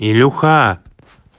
илюха